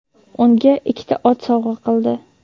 unga ikkita ot sovg‘a qildi.